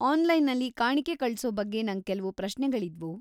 ಆನ್ಲೈನಲ್ಲಿ ಕಾಣಿಕೆ ಕಳ್ಸೋ ಬಗ್ಗೆ ನಂಗ್ ಕೆಲ್ವು ಪ್ರಶ್ನೆಗಳಿದ್ವು.